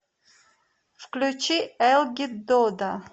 включи элгит дода